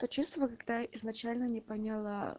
то чувство когда изначально не поняла